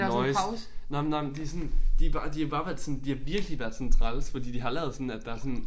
Noise nåh men nåh men de sådan de bare de har bare være sådan de har virkelig været sådan træls fordi de har lavet sådan at der sådan